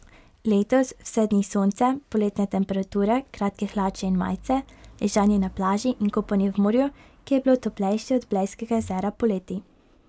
Letos vse dni sonce, poletne temperature, kratke hlače in majice, ležanje na plaži in kopanje v morju, ki je bilo toplejše od blejskega jezera poleti.